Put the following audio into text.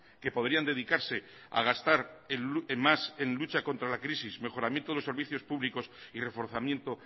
que podrían dedicarse a gastar en más en lucha contra la crisis mejoramiento de los servicios públicos y reforzamiento